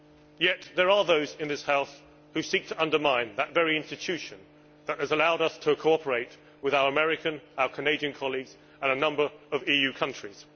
Yet there are those in this House who seek to undermine the very institution that has allowed us to cooperate with our American and Canadian colleagues and a number of EU countries.